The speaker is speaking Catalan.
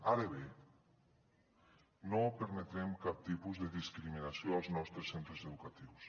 ara bé no permetrem cap tipus de discriminació als nostres centres educatius